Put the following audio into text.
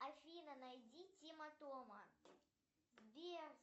афина найди тима тома сбер